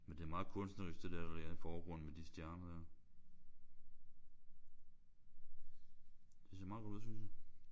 Men det er meget kunstnerisk det der der er i forgrunden med de stjerner der. Det ser meget godt ud synes jeg